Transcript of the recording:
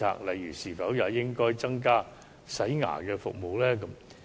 例如，是否應該增加洗牙服務呢？